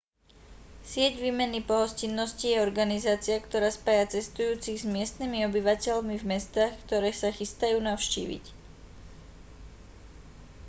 sieť výmeny pohostinnosti je organizácia ktorá spája cestujúcich s miestnymi obyvateľmi v mestách ktoré sa chystajú navštíviť